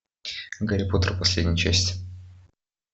гарри поттер последняя часть